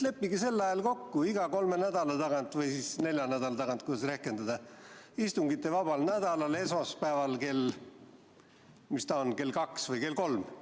Leppige kokku, iga kolme nädala tagant või siis nelja nädala tagant – kuidas rehkendada –, istungivabal nädalal esmaspäeval – mis ta on, kell kaks või kell kolm?